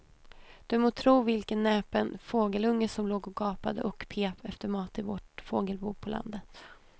Du må tro vilken näpen fågelunge som låg och gapade och pep efter mat i vårt fågelbo på landet.